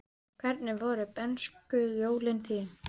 Hvernig voru bernskujólin þín?